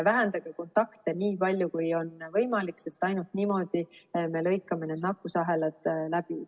Vähendage kontakte, nii palju kui on võimalik, sest ainult niimoodi me lõikame need nakkusahelad läbi.